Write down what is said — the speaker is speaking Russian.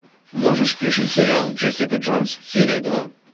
можешь включить сериал джессика джонс серия два